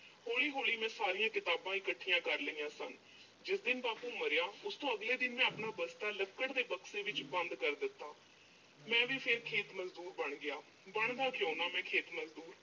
ਹੌਲੀ-ਹੌਲੀ ਮੈਂ ਸਾਰੀਆਂ ਕਿਤਾਬਾਂ ਇਕੱਠੀਆਂ ਕਰ ਲਈਆਂ ਸਨ। ਜਿਸ ਦਿਨ ਬਾਪੂ ਮਰਿਆ, ਉਸ ਤੋਂ ਅਗਲੇ ਦਿਨ ਮੈਂ ਆਪਣਾ ਬਸਤਾ ਲੱਕੜ ਦੇ ਡੱਬੇ ਵਿੱਚ ਬੰਦ ਕਰ ਦਿੱਤਾ ਮੈਂ ਵੀ ਫਿਰ ਖੇਤ ਮਜ਼ਦੂਰ ਬਣ ਗਿਆ। ਬਣਦਾ ਕਿਉਂ ਨਾ ਮੈਂ ਖੇਤ ਮਜ਼ਦੂਰ?